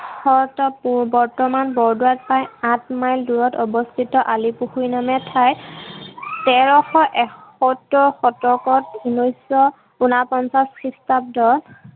বংশত বৰ্তমান বৰদোৱাৰ আলিপুখুৰী নমে ঠাইত তেৰশ এসত্তৰ শতকত উনৈছশ উনাপঞ্চাশ খ্ৰীষ্টাব্দ